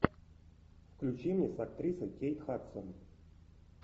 включи мне с актрисой кейт хадсон